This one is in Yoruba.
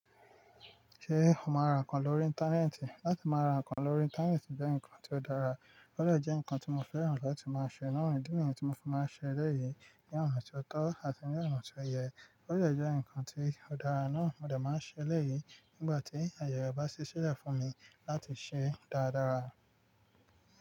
Se ó máa ń ra nǹkan lórí Íńtánẹ́ẹ̀tì? Láti máa ra nǹkan lórí Íńtánẹ́ẹ̀tì jẹ́ nǹkan tí ó dára. Ó lè jẹ́ nǹkan tí mo fẹ́ràn láti máa ṣe. Àwọn ìdí niyi tí mo fi máa ń ṣe eleyii ní ọ̀nà tí ó tọ́ àti ní ọ̀nà tí ó yẹ. Ó de jẹ́ nǹkan tí ó dára náà mo dè máa ṣe lẹ́ yìí nígbà tí àyè re ba si silẹ̀ fún mi láti ṣe dáadára.